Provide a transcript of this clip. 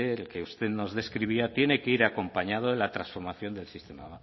el que usted nos describía tiene que ir acompañado de la transformación del sistema